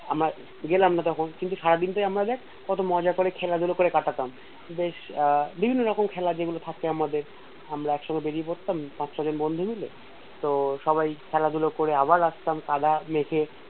আমার গেলাম না তখন কিন্তু সারাদিন তো আমরা দেখ কত মজা করে খেলাধুলো করে কাটাতাম বেশ আহ বিভিন্ন রকম খেলা যেগুলো থাকতো আমাদের আমরা একসঙ্গে বেড়িয়ে পড়তাম একসঙ্গে বন্ধু মিলে তো সবাই খেলাধুলো করে ফিরে আসতাম কাদা মেখে